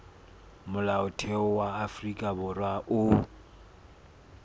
molaotheo wa afrika borwa o